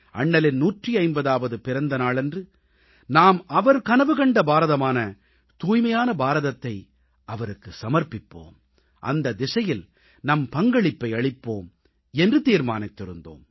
அண்ணலின் 150ஆவது பிறந்த நாளன்று நாம் அவர் கனவு கண்ட பாரதமான தூய்மையான பாரதத்தை அவருக்குச் சமர்ப்பிப்போம் அந்த திசையில் நம் பங்களிப்பை அளிப்போம் என்று தீர்மானித்திருந்தோம்